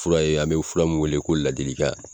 Fura ye an bɛ fura min wele ko ladilikan.